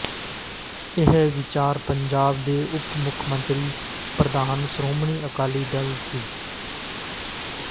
ਇਹ ਵਿਚਾਰ ਪੰਜਾਬ ਦੇ ਉਪ ਮੁੱਖ ਮੰਤਰੀ ਤੇ ਪ੍ਰਧਾਨ ਸ਼੍ਰੋਮਣੀ ਅਕਾਲੀ ਦਲ ਸ